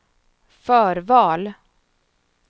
förval